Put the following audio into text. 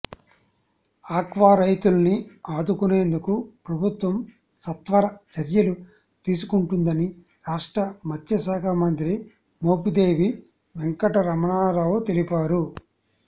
aqua రైతుల్ని ఆదుకునేందుకు ప్రభుత్వం సత్వర చర్యలు తీసుకుంటుందని రాష్ట్ర మత్స్యశాఖ మంత్రి మోపిదేవి వెంకట రమణారావు తెలిపారు